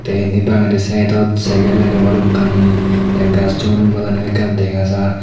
te endi banggedi sidedot cycle agey balokani te gassun padagani ekka dega jar.